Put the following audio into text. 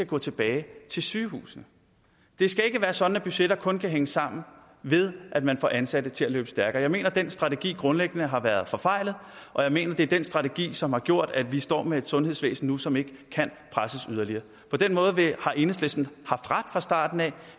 gå tilbage til sygehusene det skal ikke være sådan at budgetter kun kan hænge sammen ved at man får ansatte til at løbe stærkere jeg mener at den strategi grundlæggende har været forfejlet og jeg mener det er den strategi som har gjort at vi står med et sundhedsvæsen nu som ikke kan presses yderligere på den måde har enhedslisten haft ret fra starten